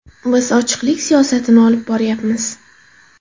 Biz ochiqlik siyosatini olib boryapmiz.